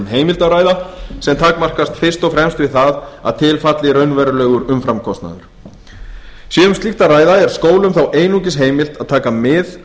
heimild að ræða sem takmarkast fyrst og fremst við það að til falli raunverulegur umframkostnaður sé um slíkt að ræða er skólum þá einungis